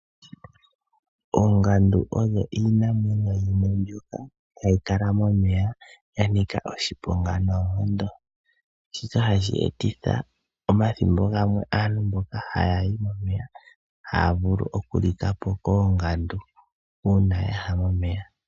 Oongandu odho iinamwenyo yimwe mbyoka hayi kala momeya ya nika oshiponga noonkondo. Shika hashi etitha omathimbo gamwe aantu mboka haya yi momeya haya vulu okulika po koongandu uuna ya ya momeya.